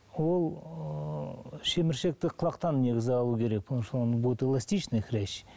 ол ыыы шеміршекті құлақтан негізі алу керек будет эластичный хрящ